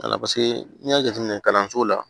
n'i y'a jateminɛ kalanso la